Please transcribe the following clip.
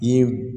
I ye